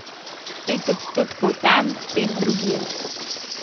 Pet odstotkov tam, pet drugje ...